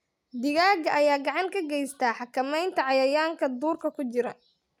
Digaagga ayaa gacan ka geysta xakamaynta cayayaanka duurka ku jira.